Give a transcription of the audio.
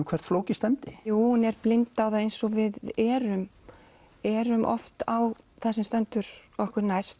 hvert flóki stefndi hún er blind á það eins og við erum erum oft á það sem stendur okkur næst